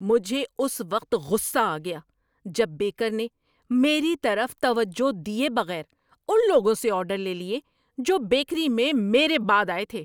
مجھے اس وقت غصہ آ گیا جب بیکر نے، میری طرف توجہ دیے بغیر، ان لوگوں سے آرڈر لے لیے جو بیکری میں میرے بعد آئے تھے۔